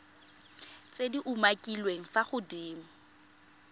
tse di umakiliweng fa godimo